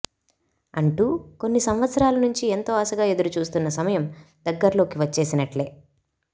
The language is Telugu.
అంటూ కొన్ని సంవత్సరాల నుంచి ఎంతో ఆశగా ఎదురుచూస్తున్న సమయం దగ్గర్లోకి వచ్చేసినట్లే